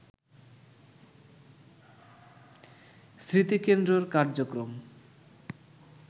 স্মৃতিকেন্দ্রের কার্যক্রম